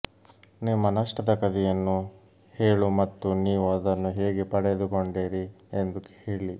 ನಿಮ್ಮ ನಷ್ಟದ ಕಥೆಯನ್ನು ಹೇಳು ಮತ್ತು ನೀವು ಅದನ್ನು ಹೇಗೆ ಪಡೆದುಕೊಂಡಿರಿ ಎಂದು ಹೇಳಿ